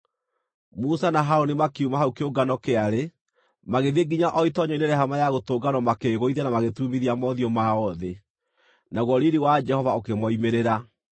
Musa na Harũni makiuma hau kĩungano kĩarĩ, magĩthiĩ nginya o itoonyero-inĩ rĩa Hema-ya-Gũtũnganwo makĩĩgũithia na magĩturumithia mothiũ mao thĩ, naguo riiri wa Jehova ũkĩmoimĩrĩra.